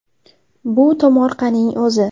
Bu tomorqaning o‘zi.